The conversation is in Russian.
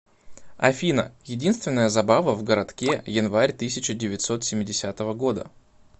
афина единственная забава в городке январь тысяча девятьсот семидесятого года